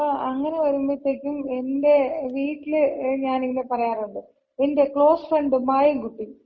അപ്പൊ അങ്ങന വരുമ്പഴത്തേക്കും എന്‍റെ വീട്ടില് ഞാനിഇങ്ങനെ പറയാറുണ്ട്. എന്‍റെ ക്ലോസ് ഫ്രണ്ട് മായൻകുട്ടി.